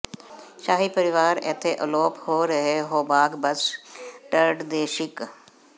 ਸ਼ਾਹੀ ਪਰਿਵਾਰ ਇੱਥੇ ਅਲੋਪ ਹੋ ਰਹੇ ਹੌਬਾਰਾ ਬਸਟਰਡ ਦੇ ਸ਼ਿਕ